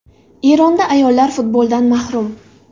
Eronda ayollar futboldan mahrum.